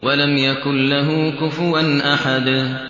وَلَمْ يَكُن لَّهُ كُفُوًا أَحَدٌ